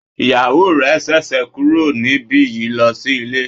Ìyàwó rẹ ṣẹ̀ṣẹ̀ kúrò níbi yìí lọ sí ilé.